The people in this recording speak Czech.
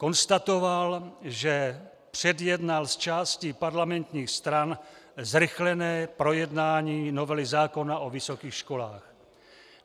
Konstatoval, že předjednal s částí parlamentních stran zrychlené projednání novely zákona o vysokých školách.